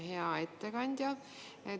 Hea ettekandja!